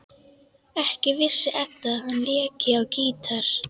Ekki vissi Edda að hann léki á gítar.